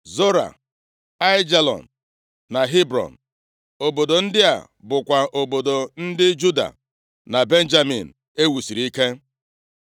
Zora, Aijalon na Hebrọn. Obodo ndị a bụkwa obodo ndị Juda na Benjamin e wusiri ike.